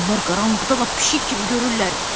Onlar qaranlıqda lap pişik kimi görürlər.